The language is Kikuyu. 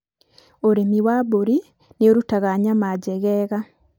ũrĩmi wa mbũri nĩ ũrutaga nyama njegeega.